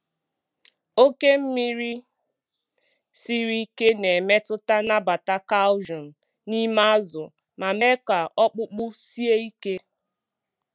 Oke mmiri siri ike na-emetụta nnabata calcium n'ime azụ ma mee ka ọkpụkpụ sie ike.